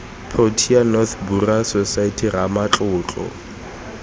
protea north burial society ramatlotlo